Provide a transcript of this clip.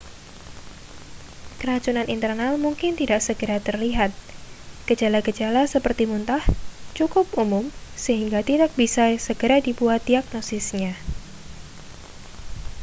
keracunan internal mungkin tidak segera terlihat gejala-gejala seperti muntah cukup umum sehingga tidak bisa segera dibuat diagnosisnya